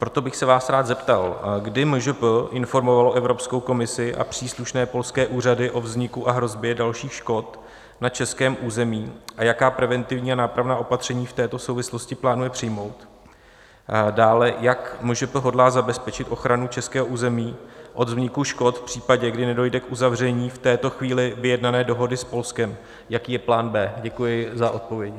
Proto bych se vás rád zeptal, kdy MŽP informovalo Evropskou komisi a příslušné polské úřady o vzniku a hrozbě dalších škod na českém území a jaká preventivní a nápravná opatření v této souvislosti plánuje přijmout, dále jak MŽP hodlá zabezpečit ochranu českého území od vzniku škod v případě, kdy nedojde k uzavření v této chvíli vyjednané dohody s Polskem - jaký je plán B. Děkuji za odpovědi.